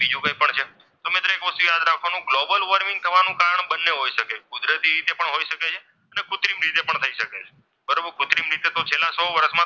global warming થવાનું કારણ બંને હોઈ શકે કુદરતી રીતે પણ હોઈ શકે છે અને કુત્રિમ રીતે પણ થઈ શકે છે પણ કૃત્રિમ રીતે તો છેલ્લા સો વર્ષમાં,